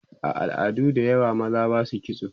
a al'adu da yawa maza Basu kitso